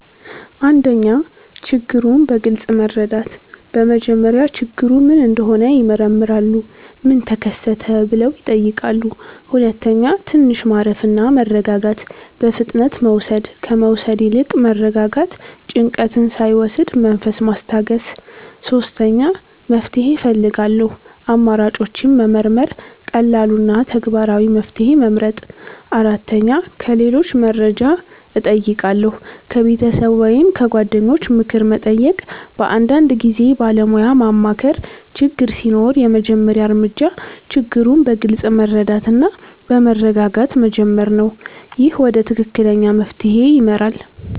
1. ችግሩን በግልጽ መረዳት በመጀመሪያ ችግሩ ምን እንደሆነ ይመረምራሉ “ምን ተከሰተ?” ብለው ይጠይቃሉ 2. ትንሽ ማረፍ እና መረጋጋት በፍጥነት መውሰድ ከመውሰድ ይልቅ መረጋጋት ጭንቀት ሳይወስድ መንፈስ ማስታገስ 3. መፍትሄ እፈልጋለሁ አማራጮችን መመርመር ቀላሉ እና ተግባራዊ መፍትሄ መመርጥ 4. ከሌሎች መርጃ እጨይቃለሁ ከቤተሰብ ወይም ከጓደኞች ምክር መጠየቅ በአንዳንድ ጊዜ ባለሞያ ማማከር ችግር ሲኖር የመጀመሪያ እርምጃ ችግሩን በግልጽ መረዳት እና በመረጋጋት መጀመር ነው። ይህ ወደ ትክክለኛ መፍትሄ ይመራል።